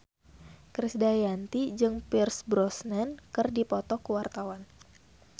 Krisdayanti jeung Pierce Brosnan keur dipoto ku wartawan